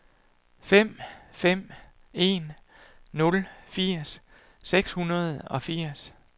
fem fem en nul firs seks hundrede og firs